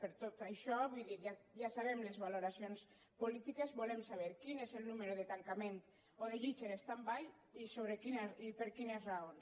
per tot això vull dir ja sabem les valoracions polítiques volem saber quin és el nombre de tancaments o de llits en standby i per quines raons